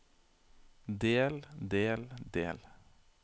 del del del